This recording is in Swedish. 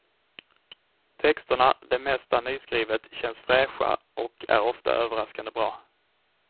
Texterna, det mesta nyskrivet, känns fräscha och är ofta överraskande bra.